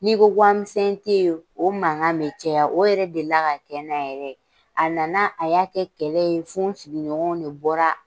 N'i ko wari misɛn tɛ yen o mankan bɛ caya o yɛrɛ delila ka kɛ n na yɛrɛ a nana a y'a kɛ kɛlɛ ye fo n sigiɲɔgɔnw de bɔra